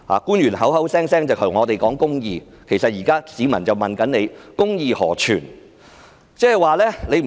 官員口口聲聲對我們說公義，但現在市民則問公義何存？